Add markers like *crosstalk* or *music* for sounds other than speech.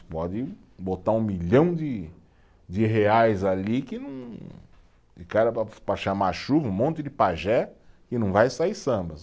Pode botar um milhão de de reais ali que não, *unintelligible* para chamar chuva, um monte de pajé, e não vai sair samba.